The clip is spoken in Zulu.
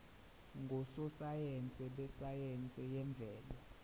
ngososayense besayense yemvelo